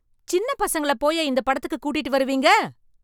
சின்ன பசங்களப் போய்யா இந்த படத்துக்குக் கூட்டிட்டு வருவீங்க?